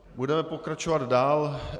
Budeme pokračovat dál.